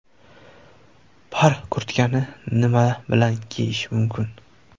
Par kurtkani nima bilan kiyish mumkin?.